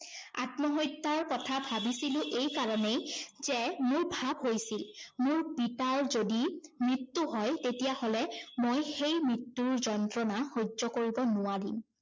আত্মহত্যাৰ কথা ভাবিছিলো এই কাৰণেই যে, মোৰ ভাৱ হৈছিল, মোৰ পিতাৰ যদি মৃত্যু হয় তেতিয়া হলে মই সেই মৃত্যুৰ যন্ত্ৰণা সহ্য কৰিব নোৱাৰিম।